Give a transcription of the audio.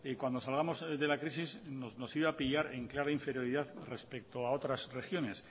que cuando salgamos de la crisis nos iba pillar en clara inferioridad respecto a otras regiones